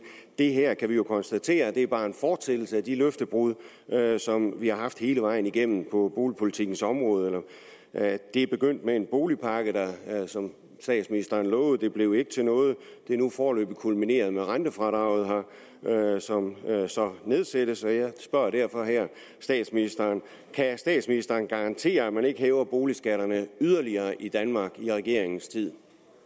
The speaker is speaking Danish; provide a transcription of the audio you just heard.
det her kan vi jo konstatere bare er en fortsættelse af de løftebrud som vi har haft hele vejen igennem på boligpolitikkens område det begyndte med en boligpakke som statsministeren lovede og det blev ikke til noget det er nu foreløbig kulmineret med rentefradraget her som så nedsættes jeg spørger derfor her statsministeren kan statsministeren garantere at man ikke yderligere hæver boligskatterne i danmark i regeringens tid